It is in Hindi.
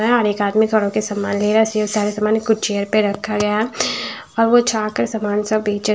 और यहाँं एक आदमी खड़े होकर सामान ले रहा हैं यों सारा सामान हैं कुछ सामान चेयर पर रखा गया है और वो चाह कर सब सामान बेच रहा है।